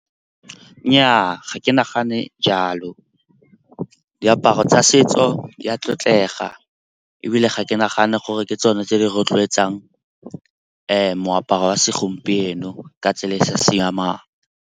Nnyaa, ga ke nagane jalo diaparo tsa setso ya tlotlega. Ebile ga ke nagane gore ke tsone tse di rotloetsang moaparo wa segompieno ka tsela e e sa siamang.